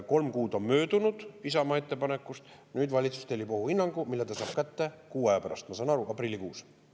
Kolm kuud on möödunud Isamaa ettepanekust, nüüd valitsus tellib ohuhinnangu, mille ta saab kätte kuu aja pärast, ma saan aru, aprillikuus.